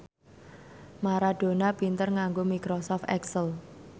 Maradona pinter nganggo microsoft excel